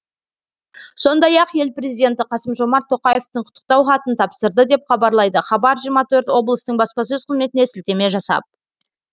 сондай ақ ел президенті қасым жомарт тоқаевтың құттықтау хатын тапсырды деп хабарлайды хабар жиырма төрт облыстың баспасөз қызметіне сілтеме жасап